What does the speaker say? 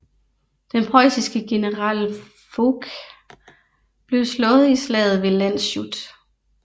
Den preussiske general Fouque blev slået i slaget ved Landshut